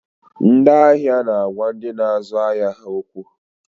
Ndị ahịa na agwa ndị na azụ ahịa ha okwu